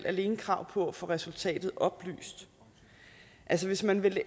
alene krav på at få resultatet oplyst altså hvis man vil